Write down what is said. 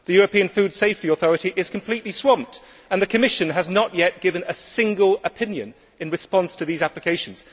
The European Food Safety Authority is completely swamped and the Commission has not yet given a single opinion in response to these applications.